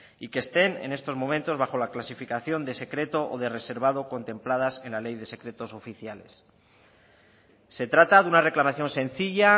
y que estén en estos momentos bajo la clasificación de secreto o de reservado contempladas en la ley de secretos oficiales se trata de una reclamación sencilla